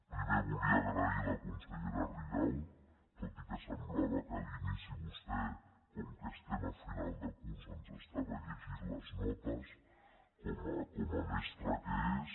primer volia donar les gràcies a la consellera rigau tot i que semblava que a l’inici vostè com que estem a final de curs ens llegia les notes com a mestra que és